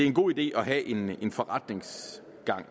en god idé at have en forretningsgang